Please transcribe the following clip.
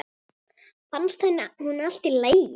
Fannst henni hún í lagi?